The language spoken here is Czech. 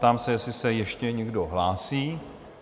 Ptám se, jestli se ještě někdo hlásí?